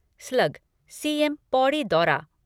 slug CM Pauri दौरा